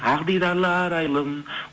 ақ дидарлы арайлым